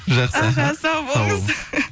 жақсы аха сау болыңыз